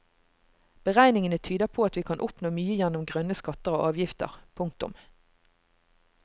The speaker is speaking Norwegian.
Beregningene tyder på at vi kan oppnå mye gjennom grønne skatter og avgifter. punktum